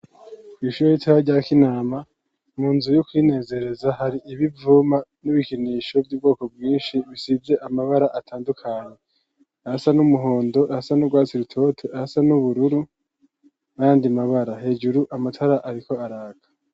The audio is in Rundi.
Kw'ishure ritoya rya Kinama, mu nzu yo kwinezereza hari ibivuma n'ibikinisho vy'ubwoko bwinshi bisize amabara atandukanye. ayasa n'umuhondo, ayasa n'urwatsi rutoto, ayasa n'ubururu n' ayandi mabara. Hejuru amatara ariko araka.